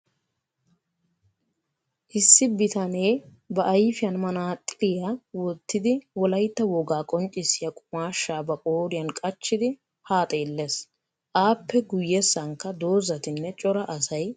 Issi bitanee ba ayifiyan manaaxxiriya wottidi wolayitta wogaa qonccissiya qumaashshaa ba qooriyan qachchidi haa xeelles. Aappe guyyessankka dozzatinne cora asay des.